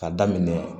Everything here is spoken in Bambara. Ka daminɛ